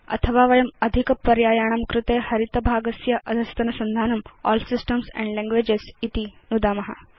अथवा वयम् अधिक पर्यायाणां कृते हरित भागस्य अधस्तनसन्धानं अल् सिस्टम्स् एण्ड लैंग्वेजेस् इति नुदाम